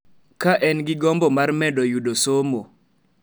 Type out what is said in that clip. Ka en gi gombo mar medo yudo somo.